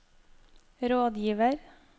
rådgiver